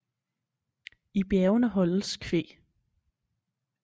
I bjergene holdes kvæg